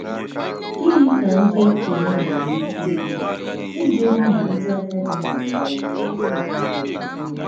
Gịnị ka ndí òkènye nwerè íké ímè iji hụ̀ na ndí àgádì nwètàrà enyémákà bàrà um ùrù?